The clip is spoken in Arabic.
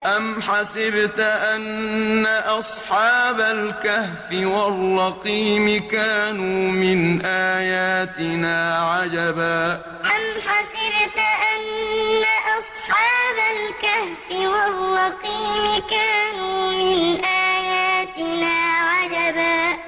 أَمْ حَسِبْتَ أَنَّ أَصْحَابَ الْكَهْفِ وَالرَّقِيمِ كَانُوا مِنْ آيَاتِنَا عَجَبًا أَمْ حَسِبْتَ أَنَّ أَصْحَابَ الْكَهْفِ وَالرَّقِيمِ كَانُوا مِنْ آيَاتِنَا عَجَبًا